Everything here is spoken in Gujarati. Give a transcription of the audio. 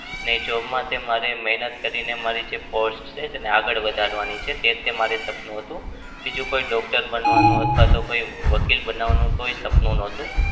ને job માં તે મારે મહેનત કરીને મારી જે post છે તેને આગળ વધારવાની છે. તે જ મારું સપનું હતું. બીજું કોઈ doctor બનવાનું અથવા તો કોઈ વકીલ બનવાનું કોઈ સપનું નતું.